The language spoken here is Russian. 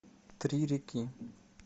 три реки